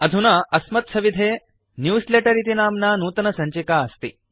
अधुना अस्मत्सविधे न्यूजलेटर इति नाम्ना नूतनसञ्चिका अस्ति